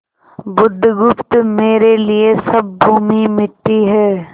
बुधगुप्त मेरे लिए सब भूमि मिट्टी है